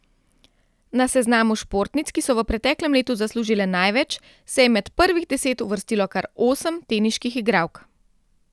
Na seznamu športnic, ki so v preteklem letu zaslužile največ, se je med prvih deset uvrstilo kar osem teniških igralk.